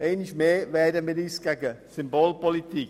Einmal mehr wehren wir uns gegen eine Symbolpolitik.